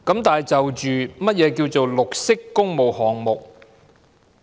然而，何謂綠色工務項目？